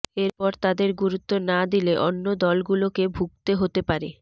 এরপর তাদের গুরুত্ব না দিলে অন্য দলগুলোকে ভুগতে হতে পারে